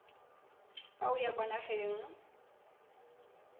fa o ya kwa nageng